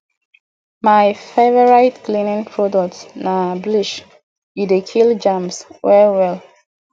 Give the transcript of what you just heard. my favorite cleaning product na bleach e dey kill germs well well